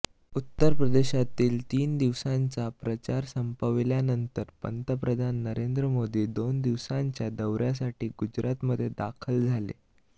उत्तर प्रदेशातील तीन दिवसांचा प्रचार संपविल्यानंतर पंतप्रधान नरेंद्र मोदी दोन दिवसांच्या दौऱयासाठी गुजरातमध्ये दाखल झाले